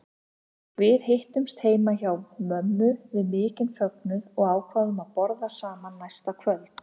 Við hittumst heima hjá mömmu við mikinn fögnuð og ákváðum að borða saman næsta kvöld.